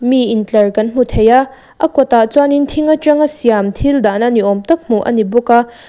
mi intlar kan hmu thei a a kawtah chuanin thing aṭanga siam thil dahna ni âwm tak hmuh a ni bawk a.